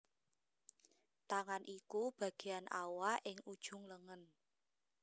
Tangan iku bagéan awak ing ujung lengen